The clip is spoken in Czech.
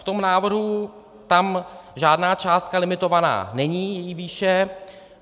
V tom návrhu tam žádná částka limitovaná není její výše.